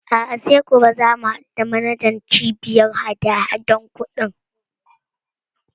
A'a sai gobe za mu haɗu da manajan Cibiyar hadahadan kuɗin.